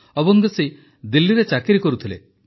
ଅବୁଙ୍ଗଶୀ ଦିଲ୍ଲୀରେ ଚାକିରି କରୁଥିଲେ